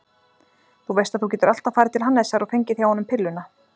Þú veist að þú getur alltaf farið til hans Hannesar og fengið hjá honum pilluna.